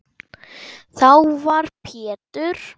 Þá var Pétur